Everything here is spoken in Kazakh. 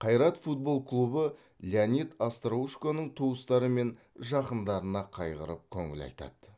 қайрат футбол клубы леонид остроушконың туыстары мен жақындарына қайғырып көңіл айтады